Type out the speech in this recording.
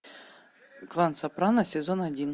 клан сопрано сезон один